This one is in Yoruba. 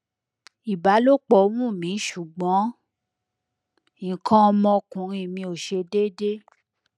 ibalopo wun mi sugbon ikan omo okunrin mi o se dede